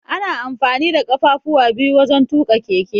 Ana amfani da ƙafafuwa biyu wajan tuƙa keke.